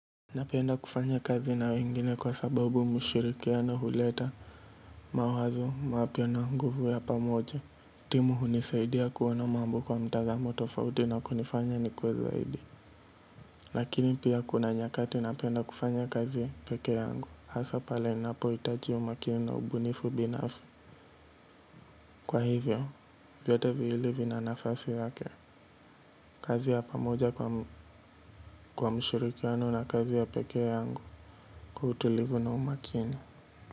Napenda kufanya kazi na wengine kwa sababu ushirikiano huleta mawazo mapya na nguvu ya pamoja. Timu hunisaidia kuona mambo kwa mtazamo tofauti na kunifanya ni kuwe zaidi. Lakini pia kuna nyakati napenda kufanya kazi peke yangu. Hasa pale ninapo hitaji umakini na ubunifu binafu. Kwa hivyo, vyote viwili vina nafasi yake. Kazi ya pamoja kwa ushirikiano na kazi ya peke yangu kwa utulivu na umakini.